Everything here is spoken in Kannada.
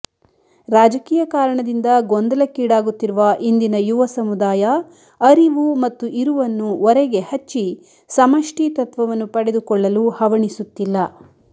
ರಾಜಕೀಯ ಕಾರಣದಿಂದ ಗೊಂದಲಕ್ಕೀಡಾಗುತ್ತಿರುವ ಇಂದಿನ ಯುವ ಸಮುದಾಯ ಅರಿವು ಮತ್ತು ಇರುವನ್ನು ಒರೆಗೆ ಹಚ್ಚಿ ಸಮಷ್ಟಿ ತತ್ವವನ್ನು ಪಡೆದುಕೊಳ್ಳಲು ಹವಣಿಸುತ್ತಿಲ್ಲ